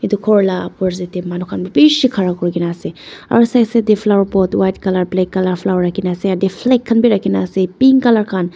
Edu khor la opposite tae manu khan bi bishi khara kurikaena ase aru side side tae flower pot white colour black colour flower rakhina ase aro ete flag khan bi rakhi na ase pink colour khan.